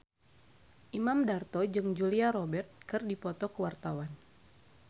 Imam Darto jeung Julia Robert keur dipoto ku wartawan